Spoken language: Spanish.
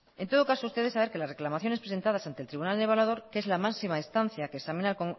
en todo caso ustedes saben que las reclamaciones presentadas ante el tribunal evaluador que es la máxima instancia que examina